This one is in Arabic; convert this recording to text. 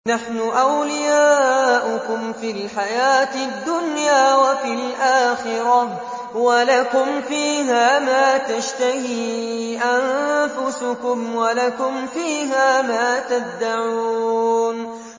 نَحْنُ أَوْلِيَاؤُكُمْ فِي الْحَيَاةِ الدُّنْيَا وَفِي الْآخِرَةِ ۖ وَلَكُمْ فِيهَا مَا تَشْتَهِي أَنفُسُكُمْ وَلَكُمْ فِيهَا مَا تَدَّعُونَ